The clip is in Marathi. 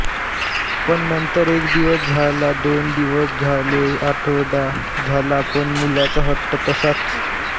पण नंतर एक दिवस झालादोन दिवस झालेआठवडा झाला पण मुलाचा हट्ट तस्साच